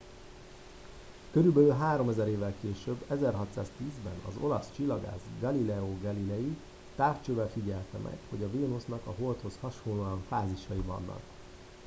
körülbelül háromezer évvel később 1610 ben az olasz csillagász galileo galilei távcsővel figyelte meg hogy a vénusznak a holdhoz hasonlóan fázisai vannak